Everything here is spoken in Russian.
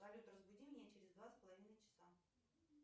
салют разбуди меня через два с половиной часа